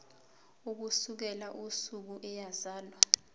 ukusukela usuku eyazalwa